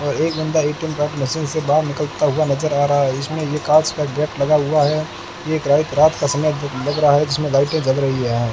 एक बंदा ATM card machine से बाहर निकलता हुआ नजर आ रहा इसमें ये कांच का गेट लगा हुआ है एक राइत रात का समय लग रहा है जिसमें लाइटें जल रही हैं।